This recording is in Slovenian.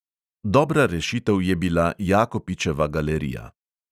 Dobra rešitev je bila jakopičeva galerija.